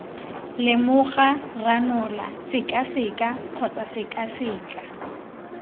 lemoga ranola sekaseka kgotsa sekaseka